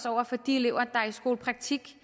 over for de elever der er i skolepraktik